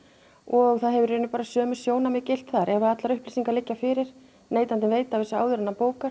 og það hafa í rauninni bara sömu sjónarmið gilt þar ef að allar upplýsingar liggja fyrir neytandinn veit af þessu áður en hann bókar